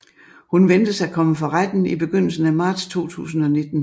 Hun ventes at komme for retten i begyndelsen af marts 2019